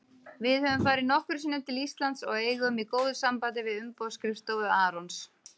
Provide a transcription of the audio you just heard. Við höfum farið nokkrum sinnum til Íslands og eigum í góðu sambandi við umboðsskrifstofu Arons.